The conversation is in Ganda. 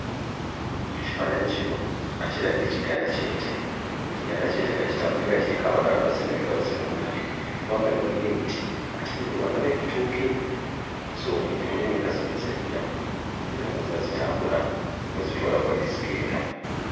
Ekifaananyi kino kiraga ekiganda ky'ente, ekiganda ky'ente nga kitambula naye nga kiriko abalaalo abaziva emabega abazirunda. Emabbali waliyo emiti ate n'eri ewala ndabayo ebitooke. So ente mulimu enkazi n'ensajja era ng'oziraba zitambula bazitwala kuba gye zigenda.